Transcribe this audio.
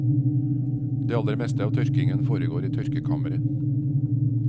Det aller meste av tørkingen foregår i tørkekammere.